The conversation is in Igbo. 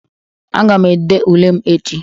Aga m ede ule m echi